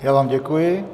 Já vám děkuji.